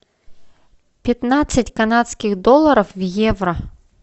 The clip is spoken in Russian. пятнадцать канадских долларов в евро